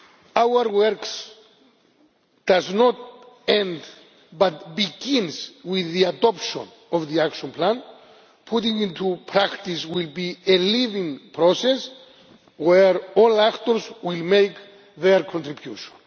welcome. Our work does not end, but begins, with the adoption of the Action Plan. Putting it into practice will be a living process where all actors will make their contribution.